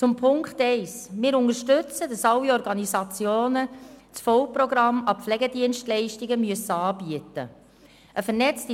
Zu Punkt 1: Wir unterstützen es, dass alle Organisationen das volle Programm an Pflegedienstleistungen anbieten müssen.